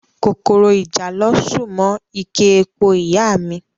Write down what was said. Kòkòrò ìjàlọ ṣù mọ́ ike epo ìyá a mi